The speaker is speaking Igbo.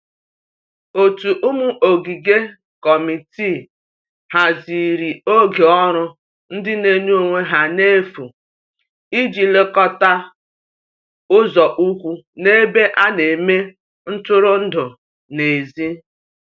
ótu ụmụ ogige/ Kọmitịị hazịrị oge ọrụ ndi n'enye onwe ha n'efu ịji lekota ụzo ukwu n'ebe ana eme ntụrụndụ n'ezi